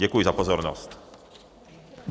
Děkuji za pozornost.